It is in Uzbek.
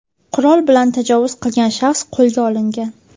Qurol bilan tajovuz qilgan shaxs qo‘lga olingan.